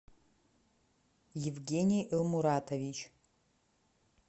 евгений элмуратович